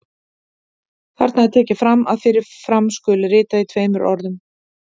Þarna er tekið fram að fyrir fram skuli ritað í tveimur orðum.